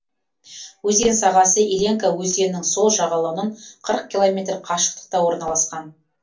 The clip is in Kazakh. өзен сағасы иленка өзенінің сол жағалауынан қырық километр қашықтықта орналасқан